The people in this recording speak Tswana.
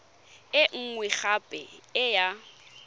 e nngwe gape e ya